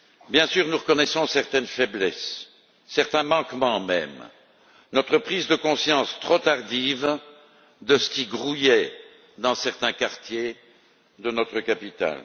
Bien sûr, nous reconnaissons certaines faiblesses, certains manquements, même, notre prise de conscience trop tardive de ce qui grouillait dans certains quartiers de notre capitale.